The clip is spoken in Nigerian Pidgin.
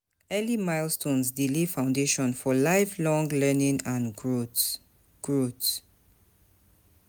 Early milestones dey lay foundation for lifelong learning and growth.